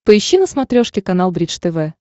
поищи на смотрешке канал бридж тв